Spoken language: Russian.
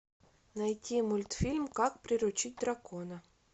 найти мультфильм как приручить дракона